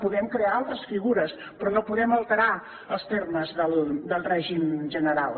podem crear altres figures però no podem alterar els termes del règim general